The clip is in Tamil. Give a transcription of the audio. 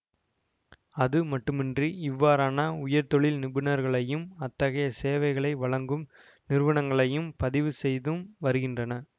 அது மட்டுமன்றி இவ்வாறான உயர்தொழில் நிபுணர்களையும் அத்தகைய சேவைகளை வழங்கும் நிறுவனங்களையும் பதிவு செய்தும் வருகின்றன